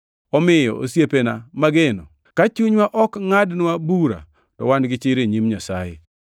Omiyo, osiepega mageno, ka chunywa ok ngʼadnwa bura to wan gi chir e nyim Nyasaye.